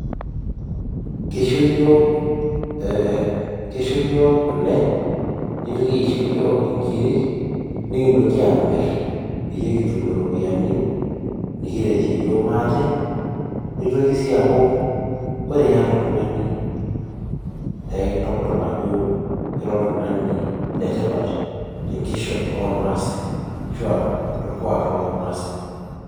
Kisho yiok kule, nitoki aisho yiok inkirik, nikintoki amir nikitum iropiyiani nikiretie yiok maate, nitoki si aku ore yata oltung'ani nekintodol ajo ira oltung'ani letipat tenkishon ormaasai, ashua torkuak lormasai.